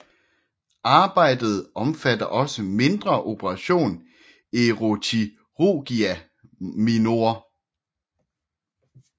Arbejdet omfatter også mindre operation eroochirurgia minor